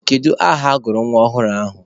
Kedu aha agụrụ nwa ọhụrụ ahụ?